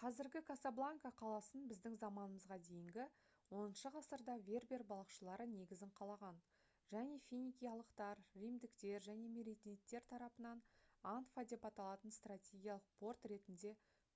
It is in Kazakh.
қазіргі касабланка қаласын біздің заманымызға дейінгі 10-ғасырда вербер балықшылары негізін қалаған және финикиялықтар римдіктер және меренидтер тарапынан анфа деп аталатын стратегиялық порт ретінде